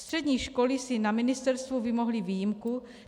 Střední školy si na ministerstvu vymohly výjimku.